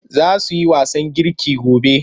Za su yi wasan girki gobe.